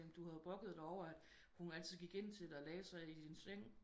Jamen du havde jo brokket dig over at hun altid gik ind til dig og lagde sig i din seng